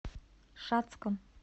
шацком